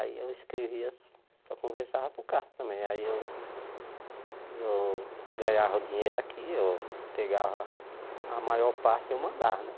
Aí eu escrevia, só conversava por carta também, aí eu eu ganhava o dinheiro aqui, eu pegava a maior parte eu mandava, né?